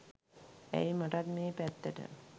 ඇයි මටත් මේ පැත්තට